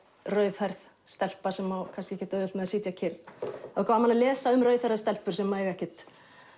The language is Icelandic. rauðhærð stelpa sem á kannski ekkert auðvelt með að sitja kyrr er gaman að lesa um rauðhærðar stelpur sem eiga ekkert